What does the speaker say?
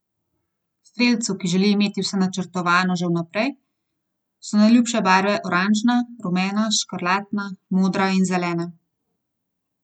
Strelcu, ki želi imeti vse načrtovano že vnaprej, so najljubše barve oranžna, rumena, škrlatna, modra in zelena.